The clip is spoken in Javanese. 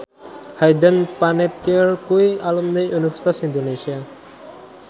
Hayden Panettiere kuwi alumni Universitas Indonesia